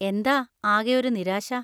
എന്താ ആകെ ഒരു നിരാശ?